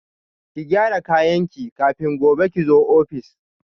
Ki gyara kayanki kafin gobe kizo office